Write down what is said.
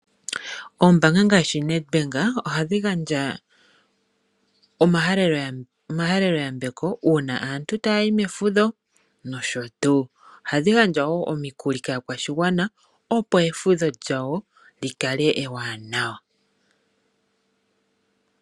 Oombaanga ngaashi Nedbank ohadhi gandja omahaleloyambeko uuna aantu taa yi mefudho nosho tuu. Ohadhi gandja wo omikuli kaakwashigwana, opo efudho lyawo li kale ewanawa.